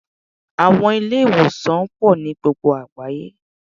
Àwọn Ilé-ìwòsàn pò nií gbogbo àgbáyé